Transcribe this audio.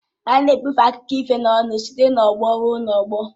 A na-ebufe akụkọ ifo n'ọnụ site n'ọgbọ ruo n'ọgbọ